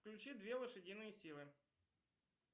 включи две лошадиные силы